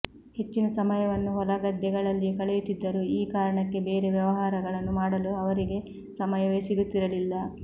ಹೆಚ್ಚಿನ ಸಮಯವನ್ನು ಹೊಲ ಗದ್ದೆ ಗಳಲ್ಲಿಯೇ ಕಳೆಯುತ್ತಿದ್ದರು ಈ ಕಾರಣಕ್ಕೆ ಬೇರೆ ವ್ಯವಹಾರಗಳನ್ನು ಮಾಡಲು ಅವರಿಗೆ ಸಮಯವೇ ಸಿಗುತ್ತಿರಲಿಲ್ಲ